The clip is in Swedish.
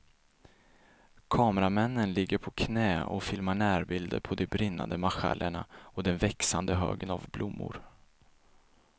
Kameramännen ligger på knä och filmar närbilder på de brinnande marschallerna och den växande högen av blommor.